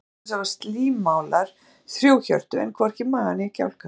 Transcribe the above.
Til dæmis hafa slímálar þrjú hjörtu en hvorki maga né kjálka.